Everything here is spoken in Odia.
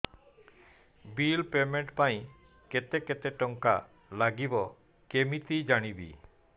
ବିଲ୍ ପେମେଣ୍ଟ ପାଇଁ କେତେ କେତେ ଟଙ୍କା ଲାଗିବ କେମିତି ଜାଣିବି